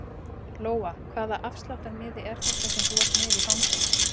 Lóa: Hvaða afsláttarmiði er þetta sem þú ert með í fanginu?